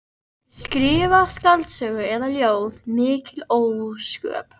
Skrifa skáldsögu eða ljóð, mikil ósköp.